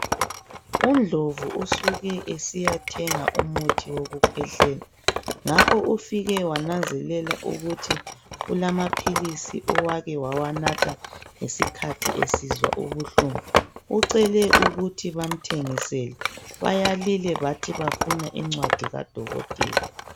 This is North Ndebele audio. Undlovu usuke esiyathenga umuthi wokukhwehlela ngakho ufike wananzelela ukuthi kulamaphilisi owake wawanatha ngesikhathi esizwa ubuhlungu ucele ukuthi bamthengisele bayalile bathi bafuna incwadi kadokotela.